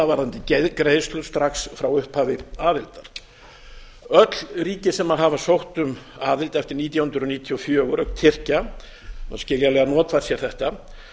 varðandi greiðslur strax frá upphafi aðildar öll ríki sem hafa sótt um aðild eftir nítján hundruð níutíu og fjögur auk tyrkja hafa skiljanlega notfært sér þetta